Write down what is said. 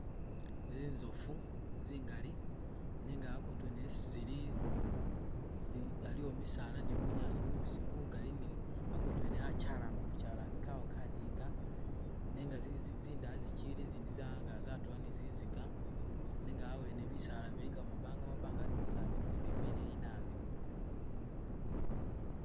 Zinzofu zingali nenga akutu yene esi zili zi aliwo misaala ni bunyaasi bubisi bugali ni akutu yene achalama buchalami kawo kadinga nenga zizi zindaya zichili zindi za'angala zatula ni zinziga nenga awene bisaala biligamo mabanga mabanga ate bisaala byene kebili bileyi nabi